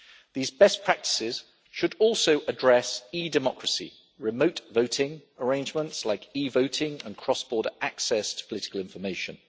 These best practices should also address e Democracy, remote voting arrangements like e voting, and cross border access to political information.